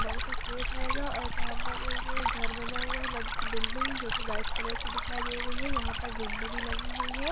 बड़ा का गेट हेगा यहाँ पर एक घर बना हुआ है बड़ी सी बिल्डिंग बानी हुई है वाइट कलर की दिखाई दे रही है यहाँ पर विंडो भी लगी हुई हगाई